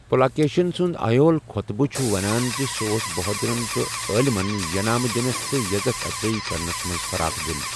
پُلاکیشِن سُند آیہول خوطبہٕ چھُ ونان زِ سُہ اوس بہودُرن تہٕ عالِمن ینامہٕ دِنس تہٕ یزتھ افضٲی کرنس منز فراخ دِل ۔